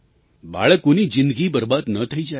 બાળકોની જિંદગી બરબાદ ન થઈ જાય